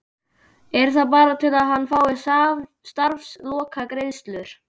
Er það bara til að hann fái starfslokagreiðslur?